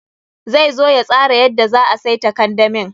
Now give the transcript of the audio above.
Zai zo ya tsara yadda za a saita kandamin.